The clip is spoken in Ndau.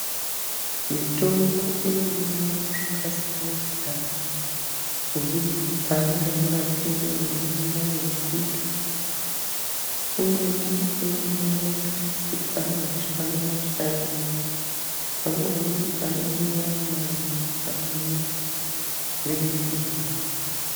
Mitombo inomwiwa zvakasiyana-siyana, kubudikidza ngemurapire weinangane ichiita. Imweni inomwiwa maphiritsi ari mashanu mashanu, amweni matatu, amweni rimwe-rimwe.